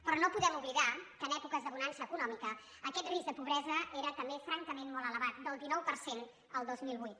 però no podem oblidar que en èpoques de bonança econòmica aquest risc de pobresa era també francament molt elevat del dinou per cent el dos mil vuit